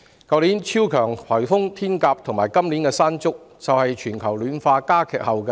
去年的超強颱風"天鴿"及今年的"山竹"，正是全球暖化加劇的後果。